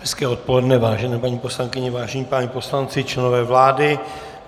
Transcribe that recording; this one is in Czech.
Hezké odpoledne, vážené paní poslankyně, vážení páni poslanci, členové vlády.